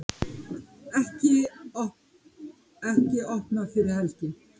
Ekki opnað fyrir helgi